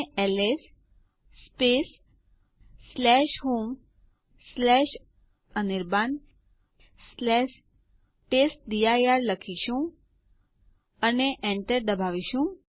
LS space home અને Enter દબાવો